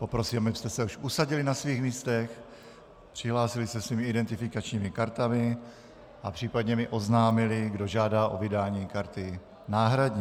Poprosím, abyste se už usadili na svých místech, přihlásili se svými identifikačními kartami a případně mi oznámili, kdo žádá o vydání karty náhradní.